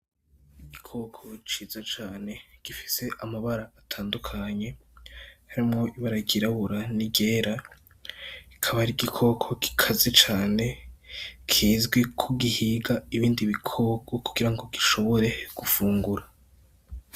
Igikoko ciza cane gifise amabara atandukanye harimwo ibara ryirabura n'iryera , akaba ar'igikoko gikaze cane kizwi ko gihiga ibindi bikoko kugira gishobore gufungura.